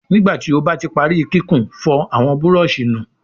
Nígbàtí o bá tí parí kíkún, fòr àwọn Búrọ̀ọ̀ṣì nù!